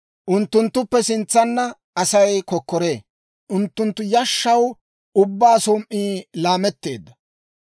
Unttunttuppe sintsanna Asay kokkoree; unttunttu yashshaw ubbaa som"ii laametteedda.